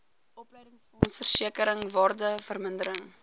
opleidingsfonds versekering waardevermindering